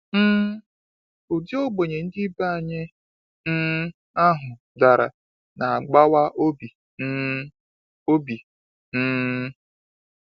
um Ụdị ogbenye ndị ibe anyị um ahụ dara na agbawa obi um obi um.